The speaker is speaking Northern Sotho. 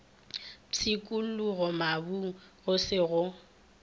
pshikologa mabung go se go